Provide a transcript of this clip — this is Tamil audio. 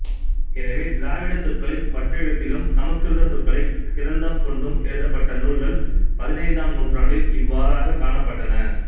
எனவே திராவிட சொற்களை வட்டெழுத்திலும் சமஸ்கிருத சொற்களை கிரந்தம் கொண்டும் எழுதப்பட்ட நூல்கள் பதினைந்தாம் நூற்றாண்டில் இவ்வாறாக காணப்பட்டன